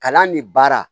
Kalan ni baara